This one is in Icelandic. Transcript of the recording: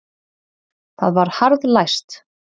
Það var harðlæst.